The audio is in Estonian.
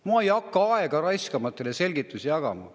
"Ma ei hakka aega raiskama, et teile selgitusi jagada.